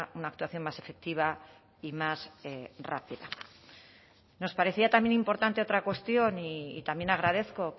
una actuación más efectiva y más rápida nos parecía también importante otra cuestión y también agradezco